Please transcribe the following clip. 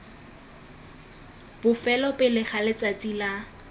bofelo pele ga letsatsi la